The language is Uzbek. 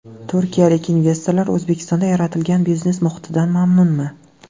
Turkiyalik investorlar O‘zbekistonda yaratilgan biznes muhitidan mamnunmi?.